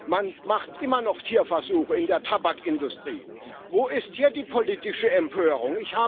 Man macht immer noch Tierversuche in der Tabakindustrie. Wo ist hier die politische Empörung?